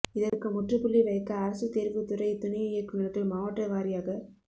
இதற்கு முற்றுப்புள்ளி வைக்க அரசு தேர்வு துறை துணை இயக்குனர்கள் மாவட்ட வாரியாக